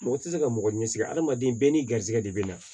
Mɔgɔ tɛ se ka mɔgɔ ɲɛsi hadamaden bɛɛ n'i garisɛgɛ de bɛ na